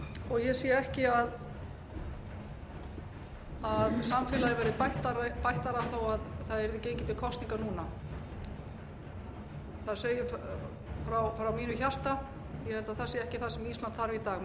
og ég sé ekki að samfélagið verði bættara þó að gengið yrði til kosninga núna það segir frá mínu hjarta ég held að það sé ekki það sem ísland þarf í dag meiri óstöðugleika ég